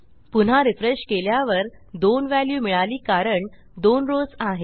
पुन्हा रिफ्रेश केल्यावर 2 व्हॅल्यू मिळाली कारण 2 रॉव्स आहेत